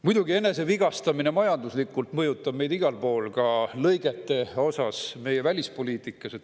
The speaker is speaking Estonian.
Muidugi, enesevigastamine majanduslikult mõjutab meid igal pool, ka lõigete poolest meie välispoliitikas.